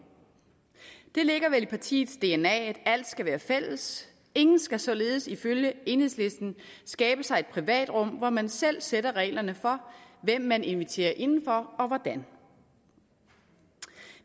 det ligger vel i partiets dna at alt skal være fælles ingen skal således ifølge enhedslisten skabe sig et privat rum hvor man selv sætter reglerne for hvem man inviterer indenfor og hvordan